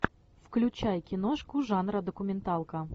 включай киношку жанра документалка